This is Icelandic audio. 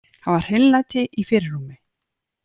Hafa hreinlæti í fyrirrúmi.